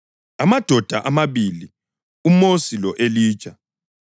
Amadoda amabili, uMosi lo-Elija,